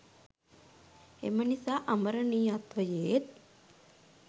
එම නිසා අමරණීයත්වයේත්